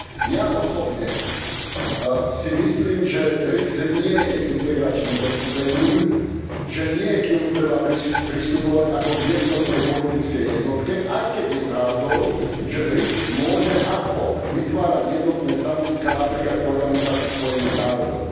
Ja osobne si myslím, že BRIC nie je integračným zoskupením, že k nemu netreba pristupovať ako k jednotnej politickej jednotke aj keď je pravdou, že BRIC môže ad hoc vytvárať jednotné stanoviská, napríklad v Organizácii Spojených národov.